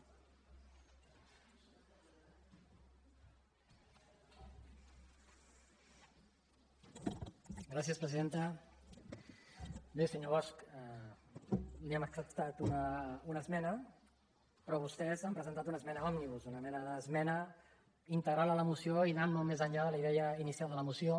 bé senyor bosch li hem acceptat una esmena però vostès han presentat una esmena òmnibus una mena d’esmena integral a la moció i anant molt més enllà de la idea inicial de la moció